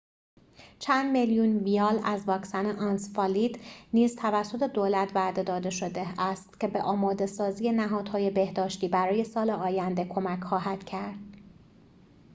چند میلیون ویال از واکسن انسفالیت نیز توسط دولت وعده داده شده است که به آماده‌سازی نهادهای بهداشتی برای سال آینده کمک خواهد کرد